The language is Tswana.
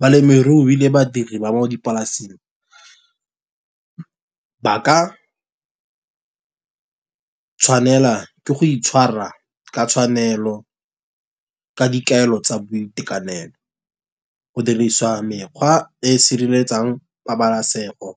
Balemirui le badiri ba mo dipolasing ba ka tshwanela ke go itshwara ka tshwanelo ka dikaelo tsa boitekanelo. Go dirisiwa mekgwa e e sireletsang pabalasego,